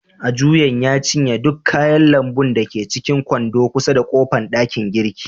Ajuyan ya cinye duk kayan lambu da ke cikin kwando kusa da kofan dakin girki.